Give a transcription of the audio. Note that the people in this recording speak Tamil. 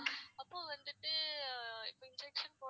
அப்ப வந்துட்டு இப்ப injection போடறதுக்கு